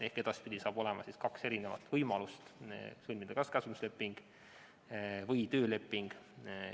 Ehk edaspidi on kaks võimalust: sõlmida kas käsundusleping või tööleping.